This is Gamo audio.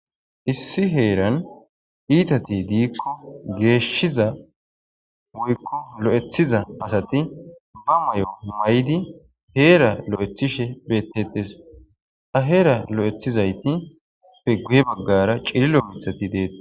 issi heeran iitati diikko geeshshiza woykko lo'ethiza asati ba mayo maydi heera lo'ethishe bettetes ha heera lo'ethizayti fe guye baggara cililo mithati deetes